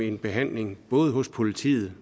en behandling både hos politiet